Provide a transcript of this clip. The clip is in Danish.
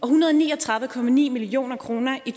hundrede og ni og tredive million kroner i